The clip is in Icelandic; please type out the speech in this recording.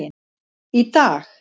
Í dag,